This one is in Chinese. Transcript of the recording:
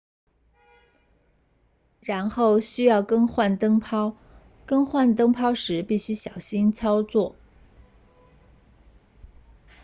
然后需要更换灯泡更换灯泡时必须小心操作